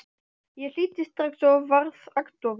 Ég hlýddi strax og varð agndofa.